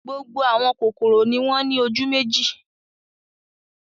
Gbogbo àwọn kòkòrò ni wọ́n ní ojú méjì.